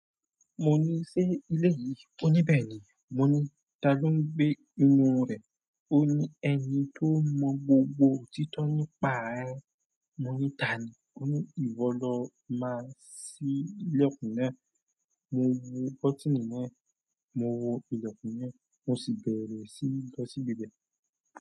Mo ni, "Ṣé ilé yìí?" Ó ní, "Bẹ́ẹ̀ ni." Mo ní, "Ta ló ń gbé inú rẹ̀?" Ó ní, "Ẹni tó mọ gbogbo òtítọ́ nípa rẹ." Mo ní, "Tani?" Ó ní, "Ìwọ lọ máa sí ìlẹ̀kùn náà." Mo wo kọti ni náà, mo wo ìlẹ̀kùn náà, mo sì bẹ̀rẹ̀ sí lọ sí ibẹ̀.